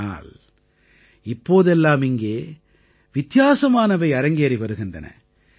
ஆனால் இப்போதெல்லாம் இங்கே வித்தியாசமானவை அரங்கேறி வருகின்றன